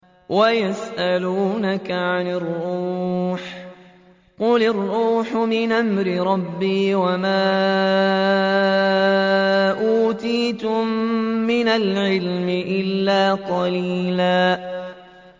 وَيَسْأَلُونَكَ عَنِ الرُّوحِ ۖ قُلِ الرُّوحُ مِنْ أَمْرِ رَبِّي وَمَا أُوتِيتُم مِّنَ الْعِلْمِ إِلَّا قَلِيلًا